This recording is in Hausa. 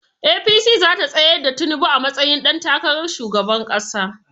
APC zata tsayar da tinubu a matsayin ɗan takarar shugaban ƙasa